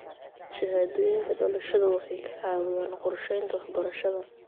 Shahaadooyinka dhalashada waxay ka caawiyaan qorsheynta waxbarashada.